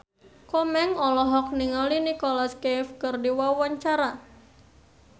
Komeng olohok ningali Nicholas Cafe keur diwawancara